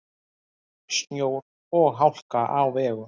Snjór og hálka á vegum